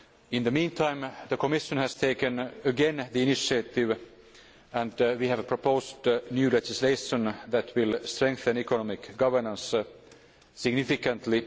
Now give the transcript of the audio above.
In the meantime, the Commission has taken the initiative and we have proposed new legislation that will strengthen economic governance significantly.